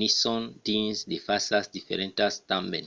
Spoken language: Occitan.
nison dins de fasas diferentas tanben